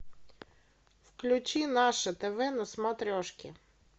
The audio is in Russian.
включи наше тв на смотрешке